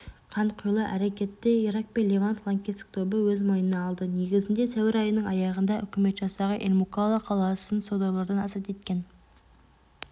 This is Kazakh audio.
қанқұйлы әрекетті ирак пен левант лаңкестік тобы өз мойнына алды негізінде сәуір айының аяғында үкімет жасағы эль-мукалла қаласын содырлардан азат еткен